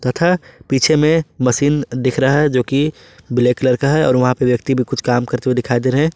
तथा पीछे में मशीन दिख रहा है जो कि ब्लैक कलर का है और वहां पे व्यक्ति भी कुछ काम करते हुए दिखाई दे रहे हैं।